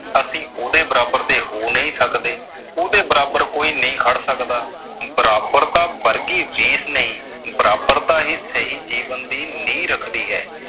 ਅਸੀਂ ਉਹਦੇ ਬਰਾਬਰ ਦੇ ਹੋ ਨਹੀਂ ਸਕਦੇ। ਉਹਦੇ ਬਰਾਬਰ ਕੋਈ ਨਹੀਂ ਖੜ ਸਕਦਾ। ਬਰਾਬਰਤਾ ਵਰਗੀ ਚੀਜ ਨਹੀ। ਬਰਾਬਰਤਾ ਹੀ ਸਹੀ ਜੀਵਨ ਦੀ ਨੀਂਹ ਰੱਖਦੀ ਹੈ।